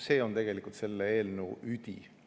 See on tegelikult selle eelnõu üdi.